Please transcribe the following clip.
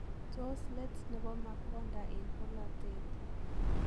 Tos leet nebo Makonda en bolotet?